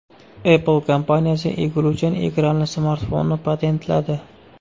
Apple kompaniyasi egiluvchan ekranli smartfonni patentladi.